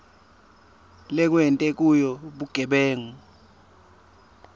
lekwenteke kuyo bugebengu